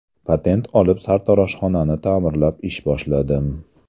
Patent olib, sartaroshxonani ta’mirlab ish boshladim.